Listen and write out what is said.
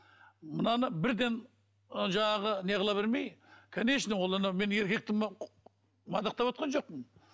мынаны бірден ы жаңағы не қыла бермей конечно ол ана мен еркек мадақтап отырған жоқпын